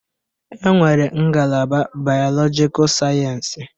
E nwere ngalaba Bailọgikal Sayensi.